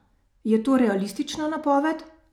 Je to realistična napoved?